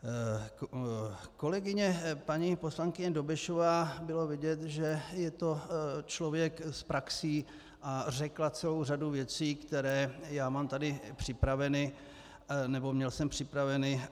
Kolegyně paní poslankyně Dobešová, bylo vidět, že je to člověk s praxí, a řekla celou řadu věcí, které já má tady připraveny nebo měl jsem připraveny.